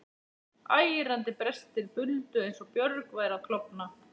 Ærandi brestir buldu eins og björg væru að klofna.